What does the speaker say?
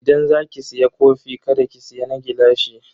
Idan za ki siya kofi kada ki siya na gilashi.